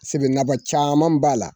Se ke nafa caman b'a la.